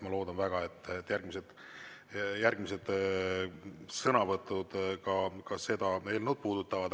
Ma loodan väga, et järgmised sõnavõtud ka seda eelnõu puudutavad.